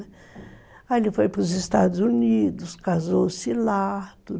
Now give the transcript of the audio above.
Aí ele foi para os Estados Unidos, casou-se lá.